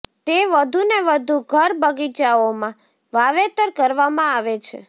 તે વધુને વધુ ઘર બગીચાઓમાં વાવેતર કરવામાં આવે છે